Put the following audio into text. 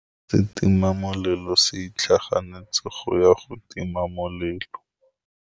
Setima molelô se itlhaganêtse go ya go tima molelô.